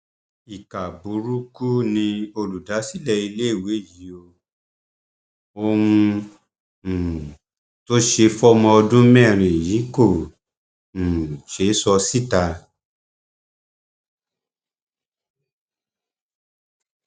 ìkà burúkú ni olùdásílẹ iléèwé yìí ò ohun um tó ṣe fọmọ ọdún mẹrin yìí kò um ṣeé sọ síta